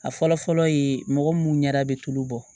A fɔlɔ fɔlɔ ye mɔgɔ mun ɲɛda bi tulo bɔ